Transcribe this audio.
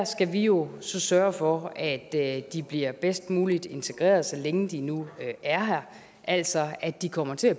skal vi jo sørge for at de bliver bedst muligt integreret så længe de nu er her altså at de kommer til at